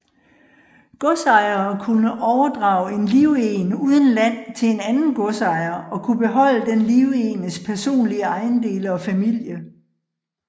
Godsejere kunne overdrage en livegen uden land til en anden godsejer og kunne beholde den livegnes personlige ejendele og familie